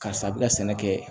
Karisa a bɛ ka sɛnɛ kɛ